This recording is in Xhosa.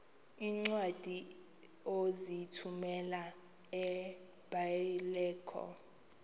iincwadi ozithumela ebiblecor